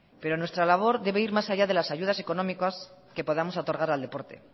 pero nuestra labor debe ir más allá de las ayudas económicas que podamos otorgar al deporte